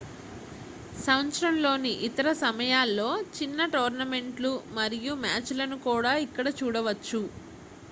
సంవత్సరంలోని ఇతర సమయాల్లో చిన్న టోర్నమెంట్ లు మరియు మ్యాచ్ లను కూడా ఇక్కడ చూడవచ్చు